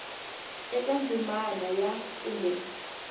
eka ndzimana ya a kumbe